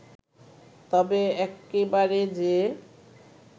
তবে একেবারে যে